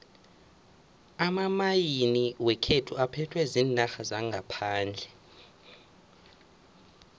amamayini wekhethu aphethwe ziinarha zangaphandle